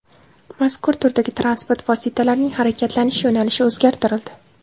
Mazkur turdagi transport vositalarining harakatlanish yo‘nalishi o‘zgartirildi.